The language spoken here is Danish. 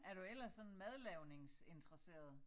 Er du ellers sådan madlavningsinteresseret